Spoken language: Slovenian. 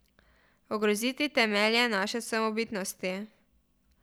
Ogroziti temelje naše samobitnosti.